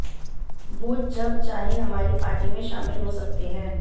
वो जब चाहे हमारी पार्टी में शामिल हो सकते हैं